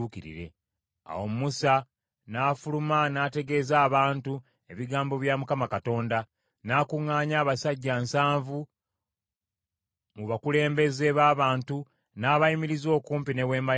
Awo Musa n’afuluma n’ategeeza abantu ebigambo bya Mukama Katonda; n’akuŋŋaanya abasajja nsanvu mu bakulembeze b’abantu n’abayimiriza okumpi ne Weema ya Mukama .